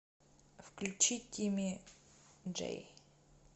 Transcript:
включи тимми джей